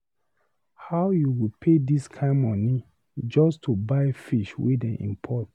How you go pay this kin money just to buy fish wey dey import